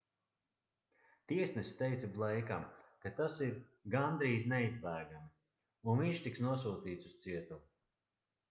tiesnesis teica bleikam ka tas ir gandrīz neizbēgami un viņš tiks nosūtīts uz cietumu